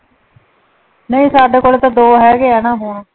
ਨਹੀ ਸਾਡੀ ਕੋਲ ਤਾਂ ਦੋ ਹੈਗੇ ਨਾ ਫੋਨ।